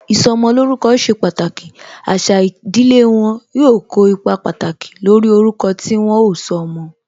Ìsọmolórúkọ ṣe pàtàkì, àṣà ìdílé wọn, yóò kó ipa pàtàkì lórí orúkọ tí wọn ó sọ ọmọ